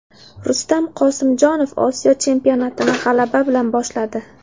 Rustam Qosimjonov Osiyo chempionatini g‘alaba bilan boshladi.